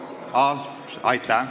Aitäh!